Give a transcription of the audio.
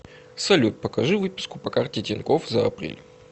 салют покажи выписку по карте тинькофф за апрель